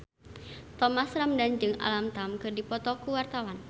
Thomas Ramdhan jeung Alam Tam keur dipoto ku wartawan